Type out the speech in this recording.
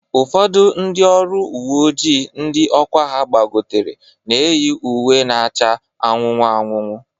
Ụfọdụ ndị ọrụ uwe ojii ndị ọkwa ha gbagotere na-eyi uwe na-acha anụnụ anụnụ